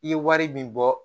I ye wari min bɔ